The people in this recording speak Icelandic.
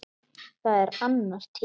Það er annar tími.